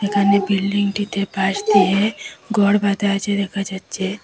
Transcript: এখানে বিল্ডিংটিতে বাস দিয়ে ঘর বাঁধা আছে দেখা যাচ্ছে।